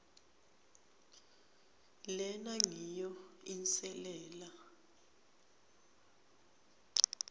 lena ngiyo inselela